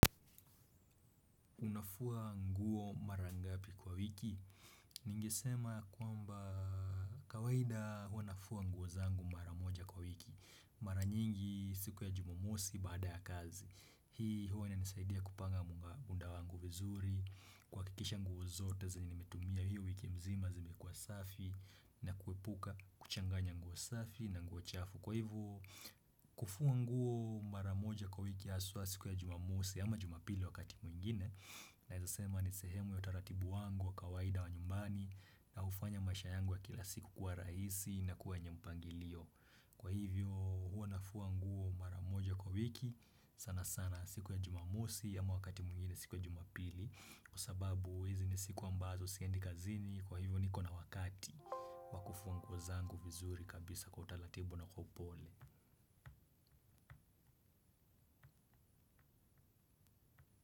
Unafua nguo mara ngapi kwa wiki? Ningesema kwamba kawaida huwa nafua nguo zangu mara moja kwa wiki. Mara nyingi siku ya jumamosi baada ya kazi. Hii huwa inanisaidia kupanga muda wangu vizuri. Kwakikisha nguo zote zenye nimetumia hiyo wiki mzima zime kuwa safi na kuepuka kuchanganya nguo safi na nguo chafu. Kwa hivyo kufua nguo mara moja kwa wiki hasuwa siku ya jumamosi ama jumapili wakati mwingine. Naeza sema ni sehemu ya utaratibu wangu wa kawaida wa nyumbani. Na ufanya maisha yangu wa kila siku kuwa raisi na kuwa wenye mpangilio. Kwa hivyo huo nafua nguo maramoja kwa wiki. Sana sana siku ya jumamosi ya mwakati muingine siku ya jumapili. Kwa sababu hizi ni siku ambazo siendi kazini. Kwa hivyo niko na wakati wakufuwa nguo zangu vizuri kabisa kwa utaratibu na upole.